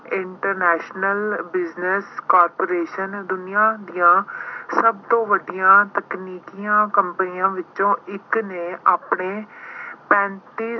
international business corporation ਦੁਨੀਆਂ ਦੀਆਂ ਸਭ ਤੋਂ ਵੱਡੀਆਂ ਤਕਨੀਕੀ companies ਵਿੱਚੋਂ ਇੱਕ ਨੇ ਆਪਣੇ ਪੈਂਤੀ